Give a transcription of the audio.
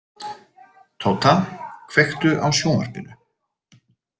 Tóta, kveiktu á sjónvarpinu.